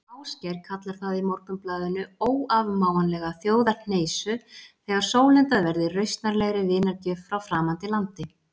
Ásgeir kallar það í Morgunblaðinu óafmáanlega þjóðarhneisu þegar sólundað verði rausnarlegri vinargjöf frá framandi landi.